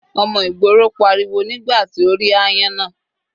Ọmọ ìgboro pariwo nígbà tí ó rí áyán náà.